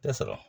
Tɛ sɔrɔ